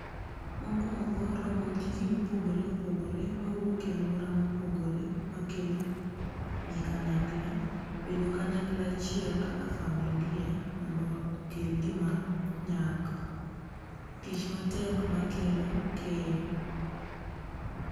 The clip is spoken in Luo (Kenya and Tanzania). Mokuongo, romo gi ji mopogore opogore mawuok e aluora mopogore makelo ji kanyakla. Bedo kanyakla achiel kaka familia mondo wa okel gima nyak. Tich matek makelo keyo